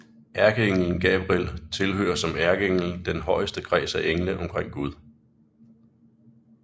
Ærkeenglen Gabriel tilhører som ærkeengel den højeste kreds af engle omkring Gud